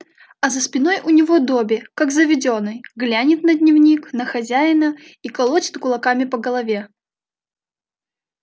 а за спиной у него добби как заведённый глянет на дневник на хозяина и колотит кулаками по голове